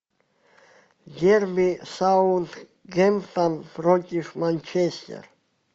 дерби саутгемптон против манчестер